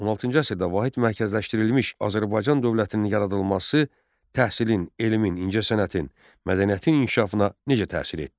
16-cı əsrdə vahid mərkəzləşdirilmiş Azərbaycan dövlətinin yaradılması təhsilin, elmin, incəsənətin, mədəniyyətin inkişafına necə təsir etdi?